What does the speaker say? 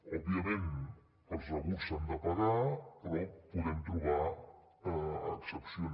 òbviament els rebuts s’han de pagar però podem trobar excepcions